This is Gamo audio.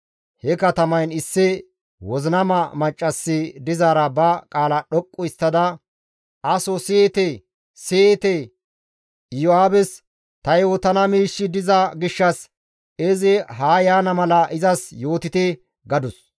he katamayn issi wozinama maccassi dizaara ba qaala dhoqqu histtada «Aso siyite! Siyite! Iyo7aabes ta yootana miishshi diza gishshas izi haa yaana mala izas yootite!» gadus.